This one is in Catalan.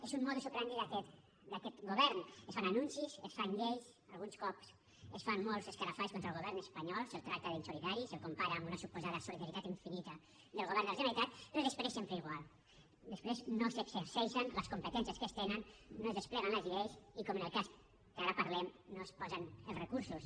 és un modus operandi d’aquest govern es fan anuncis es fan lleis alguns cops es fan molts escarafalls contra el govern espanyol se’l tracta d’insolidari se’l compara amb una suposada solidaritat infinita del govern de la generalitat però després sempre igual després no s’exerceixen les competències que es tenen no es despleguen les lleis i com en el cas que ara parlem no es posen els recursos